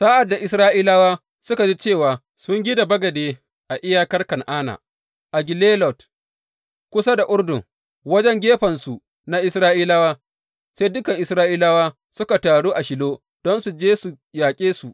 Sa’ad da Isra’ilawa suka ji cewa sun gina bagade a iyakar Kan’ana, a Gelilot kusa da Urdun wajen gefensu na Isra’ilawa, sai dukan Isra’ilawa suka taru a Shilo don su je su yaƙe su.